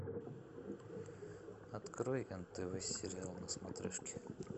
открой нтв сериал на смотрешке